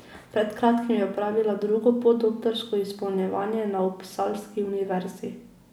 Pred kratkim je opravila drugo podoktorsko izpopolnjevanje na uppsalski univerzi.